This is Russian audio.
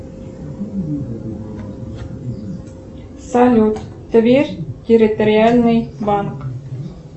салют тверь территориальный банк